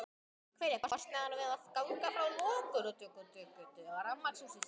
Hver er kostnaðurinn við að ganga frá lokaúttekt á rafmagni hússins?